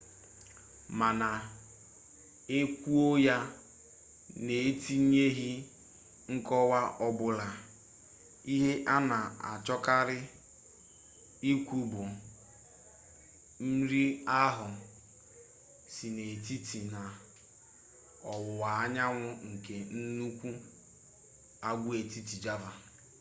mana e kwuo ya n'etinyeghi nkọwa ọbụla ihe a na-achọkarị ikwu bụ nri ahụ si n'etiti na ọwụwa anyanwu nke nnukwu agwaetiti java